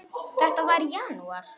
Þetta var í janúar.